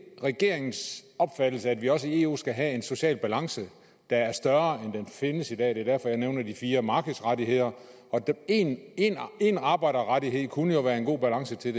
regeringens opfattelse at vi også i eu skal have en social balance der er større end den findes i dag det er derfor jeg nævner de fire markedsrettigheder en arbejderrettighed kunne jo være en god balance til